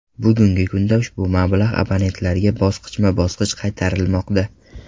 Bugungi kunda ushbu mablag‘ abonentlarga bosqichma-bosqich qaytarilmoqda .